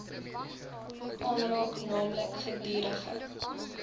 aanraak naamlik gedurige